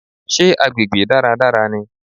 Sé agbègbè dáradára ni?